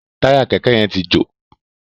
Táyà kẹ̀kẹ́ yén tí jo.